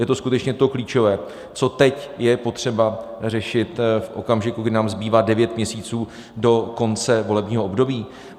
Je to skutečně to klíčové, co teď je potřeba řešit, v okamžiku, kdy nám zbývá devět měsíců do konce volebního období?